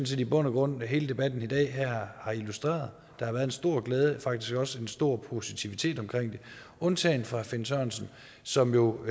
set i bund og grund hele debatten i dag her har illustreret der har været en stor glæde faktisk også en stor positivitet omkring det undtagen fra herre finn sørensen som jo